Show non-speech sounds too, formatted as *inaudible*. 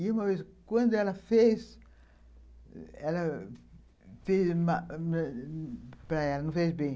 E, uma vez, quando ela fez, *unintelligible* não fez bem.